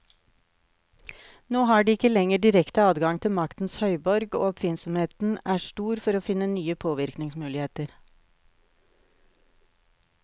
Nå har de ikke lenger direkte adgang til maktens høyborg, og oppfinnsomheten er stor for å finne nye påvirkningsmuligheter.